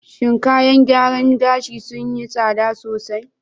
Shin kayan gyaran gashi sun yi tsada sosai?